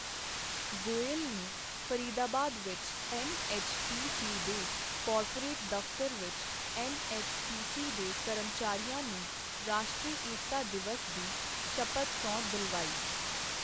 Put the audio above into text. ਗੋਇਲ ਨੇ ਫਰੀਦਾਬਾਦ ਵਿੱਚ ਐੱਨਐੱਚਪੀਸੀ ਦੇ ਕੋਰਪੋਰੇਟ ਦਫਤਰ ਵਿੱਚ ਐੱਨਐੱਚਪੀਸੀ ਦੇ ਕਰਮਚਾਰੀਆਂ ਨੂੰ ਰਾਸ਼ਟਰੀ ਏਕਤਾ ਦਿਵਸ ਦੀ ਸ਼ਪਥ ਸਹੁੰ ਦਿਲਵਾਈ।